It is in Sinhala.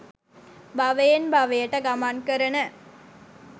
භවයෙන් භවයට ගමන් කරන